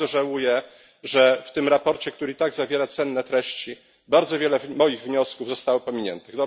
Bardzo żałuję, że w tym sprawozdaniu, które i tak zawiera cenne treści, bardzo wiele moich wniosków zostało pominiętych.